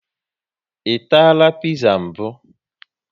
I tara piza mbụ?